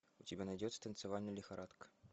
у тебя найдется танцевальная лихорадка